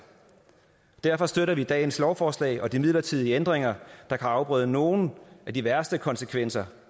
derfor støtter vi dagens lovforslag og de midlertidige ændringer der kan afbøde nogle af de værste konsekvenser